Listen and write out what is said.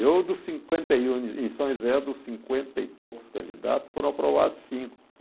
Eu, dos cinquenta e um em São José, dos cinquenta e poucos candidatos, foram aprovados cinco.